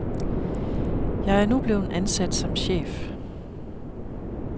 Jeg er nu blevet ansat som chef.